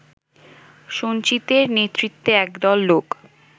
সঞ্জিতের নেতৃত্বে একদল লোক